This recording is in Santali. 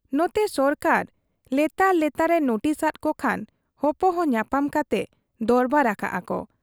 ᱱᱚᱛᱮ ᱥᱚᱨᱠᱟᱨ ᱞᱮᱛᱟᱲ ᱞᱮᱛᱟᱲ ᱮ ᱱᱩᱴᱤᱥ ᱟᱫ ᱠᱚ ᱠᱷᱟᱱ ᱦᱚᱯᱚᱦᱚ ᱧᱟᱯᱟᱢ ᱠᱟᱛᱮ ᱫᱚᱨᱵᱟᱨ ᱟᱠᱟᱜ ᱟ ᱠᱚ ᱾